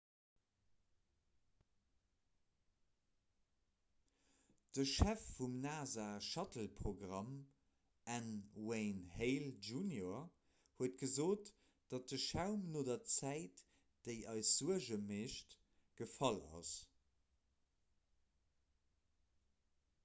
de chef vum nasa-shuttleprogramm n wayne hale jr huet gesot datt de schaum no der zäit déi eis suerge mécht gefall ass